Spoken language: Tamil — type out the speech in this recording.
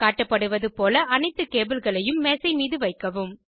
காட்டப்படுவது போல அனைத்து கேபிள்களையும் மேசைமீது வைக்கவும்